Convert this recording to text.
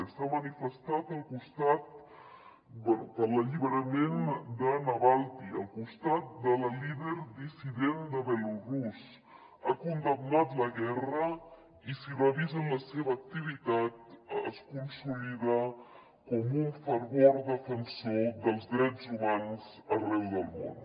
s’ha manifestat per l’alliberament de navalni al costat de la líder dissident de belarús ha condemnat la guerra i si revisen la seva activitat es consolida com un fervent defensor dels drets humans arreu del món